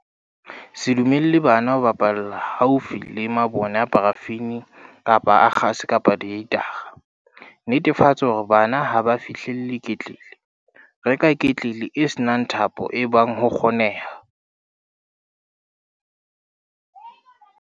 Se dumelle bana ho bapalla haufi le mabone a parafini kapa a kgase kapa dihitara. Netefatsa hore bana ha ba fihlelle ketlele. Reka ketlele e se nang thapo ebang ho kgoneha.